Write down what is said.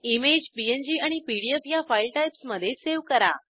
image PNG आणि PDF ह्या file टाईप्समधे सावे करा